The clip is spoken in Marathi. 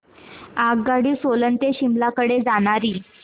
आगगाडी सोलन ते शिमला कडे जाणारी